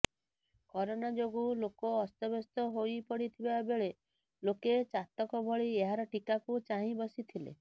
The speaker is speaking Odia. କରୋନା ଯୋଗୁଁ ଲୋକ ଅସ୍ତବ୍ୟସ୍ତ ହୋଇପଡିଥିବା ବେଳେ ଲୋକେ ଚାତକ ଭଳି ଏହାର ଟୀକାକୁ ଚାହିଁ ବସିଥିଲେ